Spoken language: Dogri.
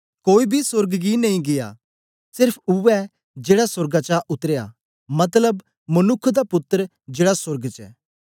कोई बी सोर्ग गी नेई गीया सेर्फ उवै जेड़ा सोर्गा चा उतरया मतलब मनुक्ख दा पुत्तर जेड़ा सोर्ग च ऐ